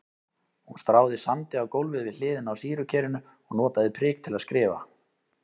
Hún stráði sandi á gólfið við hliðina á sýrukerinu og notaði prik til að skrifa.